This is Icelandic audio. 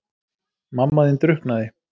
Mamma þín drukknaði.